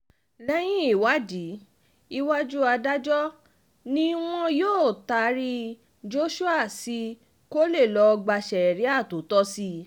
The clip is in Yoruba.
lẹ́yìn ìwádìí iwájú adájọ́ ni wọn yóò taari joshua sí kó lè lọ́ọ́ gba sẹ́ríà tó tọ́ sí i